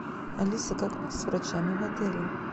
алиса как у нас с врачами в отеле